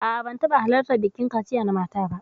A'a, ban taɓa halartar bikin kaciya na mata ba.